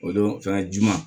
O don fɛnɛ ji ma